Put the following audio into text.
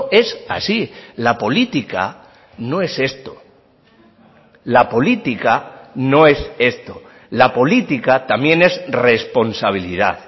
es así la política no es esto la política no es esto la política también es responsabilidad